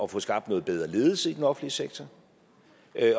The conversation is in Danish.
få skabt noget bedre ledelse i den offentlige sektor